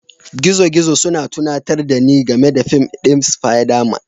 Gizogizo suna tunatar da ni game da fim ɗin Spiderman